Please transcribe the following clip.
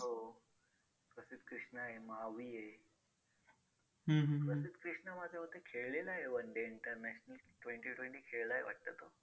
तच्यात बघा nutrition check pot तीन जे flavour आहेत. हा chocolate flavour ये हा strawberry flavour ये vanilla flavour आहे.